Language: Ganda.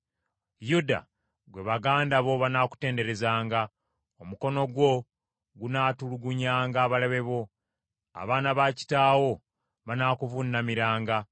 Yuda gwe baganda bo banaakutenderezanga. Omukono gwo gunaatulugunyanga abalabe bo. Abaana ba kitaawo banaakuvuunamiranga.